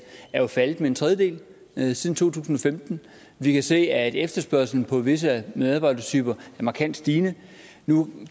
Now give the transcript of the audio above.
er faldet med en tredjedel siden to tusind og femten vi kan se at efterspørgslen på visse medarbejdertyper er markant stigende nu